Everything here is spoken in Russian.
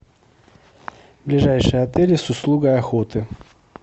ближайшие отели с услугой охоты